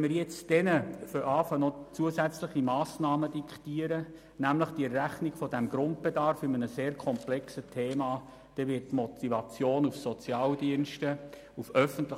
Wenn wir jetzt beginnen, ihnen noch zusätzliche Massnahmen zu diktieren, nämlich die Rechnung für den Grundbedarf, ein sehr komplexes Thema, dann wird die Motivation, in öffentlichen